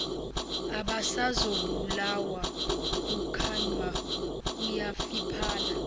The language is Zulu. abasazobulawa ukukhanya kuyafiphala